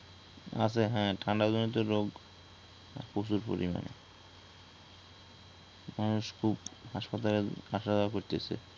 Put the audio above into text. আছে হ্যা ঠান্ডা জনিত রোগ প্রচুর পরিমানে মানুষ খুব হাসপাতালে আসা যাওয়া করতেসে